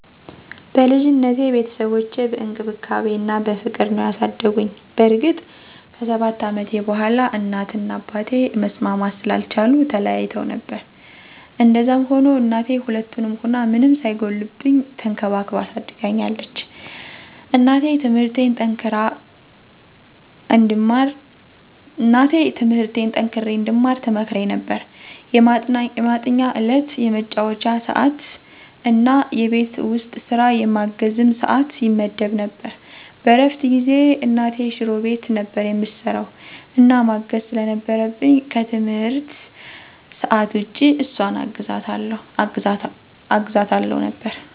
በልጅነቴ ቤተሰቦቼ በእንክብካቤ እና በፍቅር ነዉ ያሳደጉኝ። በእርግጥ ከ7 አመቴ በኋላ እናት እና አባቴ መስማማት ስላልቻሉ ተለያይተዉ ነበር። እንደዛም ሁኖ እናቴ ሁለቱንም ሁና ምንም ሳይጎልብኝ ተንከባክባ አሳድጋኛለች። እና ትምርቴን ጠንክሬ እንድማር ትመክረኝ ነበር፣ የማጥኛ ሰዕት፣ የመጫወቻ ሰዕት እና የቤት ዉስጥ ስራ የማገዝም ሰዕት ይመደብ ነበር። በእረፍት ጊዜየ እናቴ ሽሮ ቤት ነበር እምሰራዉ እና ማገዝ ስለነበረብኝ ከትምህርት ሰዕት ዉጭ እሷን አግዛታለሁ ነበር።